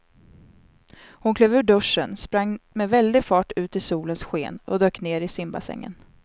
Hon klev ur duschen, sprang med väldig fart ut i solens sken och dök ner i simbassängen.